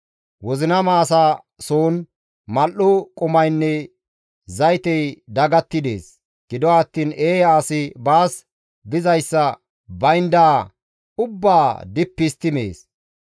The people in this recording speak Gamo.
Wozinama asa soon mal7o qumaynne zaytey dagatti dees; gido attiin eeya asi baas dizayssa, bayndaa ubbaa dippi histti mees.